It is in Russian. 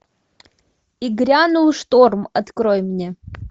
и грянул шторм открой мне